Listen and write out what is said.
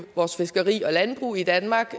vores fiskeri og landbrug i danmark